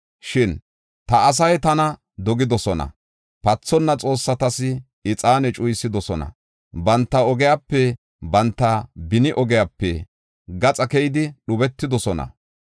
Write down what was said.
Shin ta asay tana dogidosona; pathonna xoossatas ixaane cuyisidosona. Banta ogiyape, banta beni ogiyape, gaxa keyidi dhubetidosona.